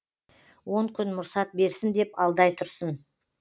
он күн мұрсат берсін деп алдай тұрсын